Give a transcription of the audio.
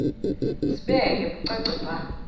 sibeke bucace bha